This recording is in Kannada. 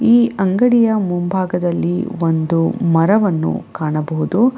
ಈ ಅಂಗಡಿಯ ಮುಂಭಾಗದಲ್ಲಿ ಒಂದು ಮರವನ್ನು ಕಾಣಬಹುದು.